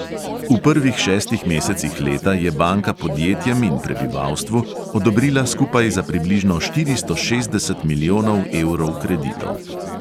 V prvih šestih mesecih leta je banka podjetjem in prebivalstvu odobrila skupaj za približno štiristo šestdeset milijonov evrov kreditov.